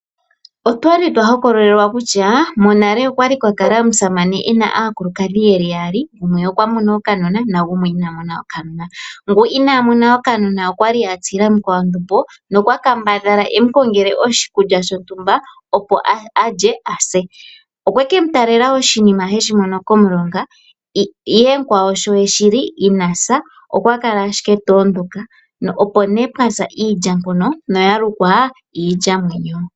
Otwa li twa hokololelwa kutya monale okwa li kwa kala omusamane e na aakulukadhi yeli yaali, gumwe okwa mono okanona, nagumwe ina mona okanona, ngu inaa mona okanona okwa li a tsila mukwawo ondumbo nokwa kambadhala e mu kongele oshinima shontumba, opo alye a se. Okwe ke mu talela oshinima heshi mono komulonga, ihe mukwawo sho eshi li ina sa okwa kala ashike ta ondoka, nopo nee pwaza iilya mpono noya lukwa iilyamwenyo.